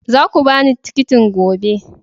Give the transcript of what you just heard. Za ku ba ni tikitin gobe!